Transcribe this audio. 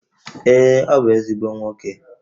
Ee, ọ bụ ezigbo nwoke